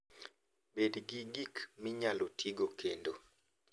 Bed gi gik minyalo tigo kendo.